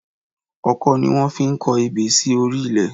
Ọkọ́ ni wọ́n fi ń kọ ebè sí orí ilẹ̀